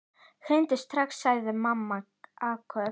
Hringdu strax, sagði mamma áköf.